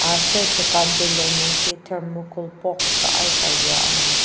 aser dokan telung nungji thermocol box a aika yua angur.